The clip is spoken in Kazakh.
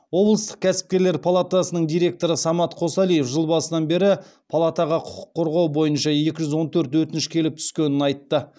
облыстық кәсіпкерлер палатасының директоры самат қосалиев жыл басынан бері палатаға құқық қорғау бойынша екі жүз он төрт өтініш келіп түскенін айтты